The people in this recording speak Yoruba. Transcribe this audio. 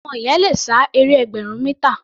Ọmọ yẹn le sá eré ẹgbẹ̀rún mítà.